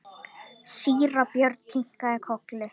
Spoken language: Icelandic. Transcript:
Síra Björn kinkaði kolli.